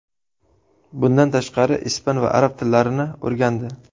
Bundan tashqari, ispan va arab tillarini o‘rgandi.